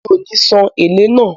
Mi ò ní san “èlé” náà.